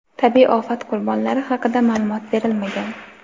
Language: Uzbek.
Tabiiy ofat qurbonlari haqida ma’lumot berilmagan.